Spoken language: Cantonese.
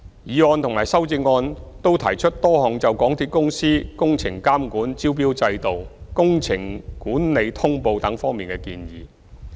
議案和修正案均提出多項就港鐵公司工程監管、招標制度、工程管理通報等方面的建議。